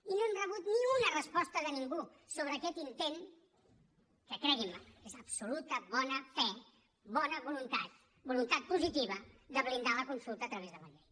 i no hem rebut ni una resposta de ningú sobre aquest intent que creguin me és absoluta bona fe bona voluntat voluntat positiva de blindar la consulta a través de la llei